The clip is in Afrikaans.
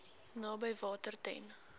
naby water ten